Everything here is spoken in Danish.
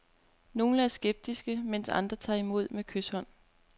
Nogle er skeptiske, mens andre tager imod med kyshånd.